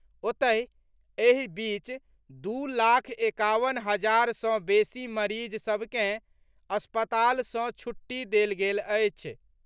ओतहि, एहि बीच दू लाख एकावन हजार सँ बेसी मरीज सभ के अस्पताल सँ छुट्टी देल गेल अछि।